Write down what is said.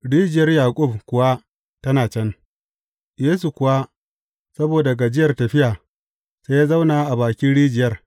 Rijiyar Yaƙub kuwa tana can, Yesu kuwa, saboda gajiyar tafiya, sai ya zauna a bakin rijiyar.